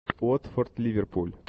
уотфорд ливерпуль